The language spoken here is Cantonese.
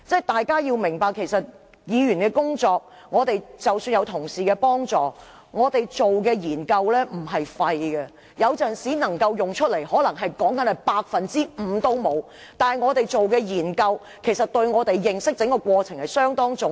大家要明白，議員的工作，即使有同事幫助......議員所做的研究不是沒用的，雖然有時能夠派上用場的可能不到 5%， 但我們的研究對認識議題相當重要。